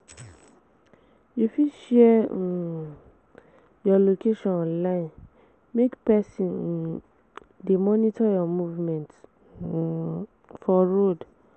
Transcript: You fit share um you location online make persin um de monitor your movement um for road